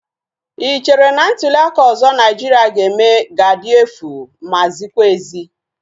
Ị chere na ntuliaka ọzọ Naijiria ga-eme ga-adị efu ma zikwa ezi?